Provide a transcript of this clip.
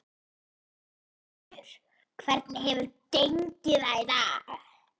Pétur, hvernig hefur gengið í dag?